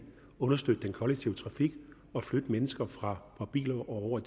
understøtte den kollektive trafik og flytte mennesker fra biler og over